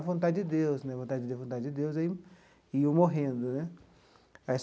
Vontade de Deus né, vontade de Deus, vontade de Deus e aí iam morrendo né.